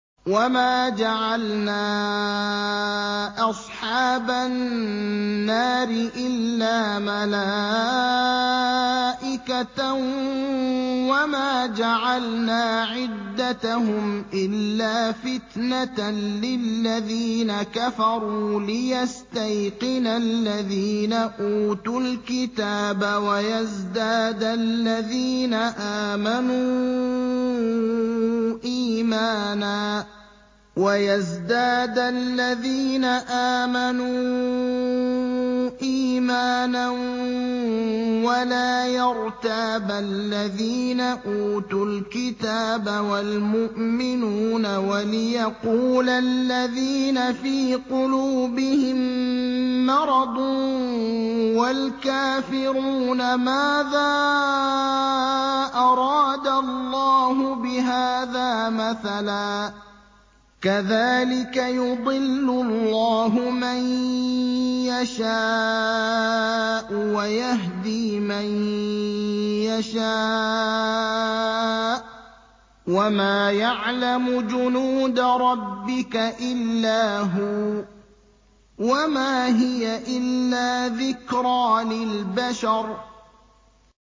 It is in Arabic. وَمَا جَعَلْنَا أَصْحَابَ النَّارِ إِلَّا مَلَائِكَةً ۙ وَمَا جَعَلْنَا عِدَّتَهُمْ إِلَّا فِتْنَةً لِّلَّذِينَ كَفَرُوا لِيَسْتَيْقِنَ الَّذِينَ أُوتُوا الْكِتَابَ وَيَزْدَادَ الَّذِينَ آمَنُوا إِيمَانًا ۙ وَلَا يَرْتَابَ الَّذِينَ أُوتُوا الْكِتَابَ وَالْمُؤْمِنُونَ ۙ وَلِيَقُولَ الَّذِينَ فِي قُلُوبِهِم مَّرَضٌ وَالْكَافِرُونَ مَاذَا أَرَادَ اللَّهُ بِهَٰذَا مَثَلًا ۚ كَذَٰلِكَ يُضِلُّ اللَّهُ مَن يَشَاءُ وَيَهْدِي مَن يَشَاءُ ۚ وَمَا يَعْلَمُ جُنُودَ رَبِّكَ إِلَّا هُوَ ۚ وَمَا هِيَ إِلَّا ذِكْرَىٰ لِلْبَشَرِ